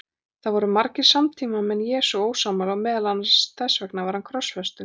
Þessu voru margir samtímamenn Jesú ósammála og meðal annars þess vegna var hann krossfestur.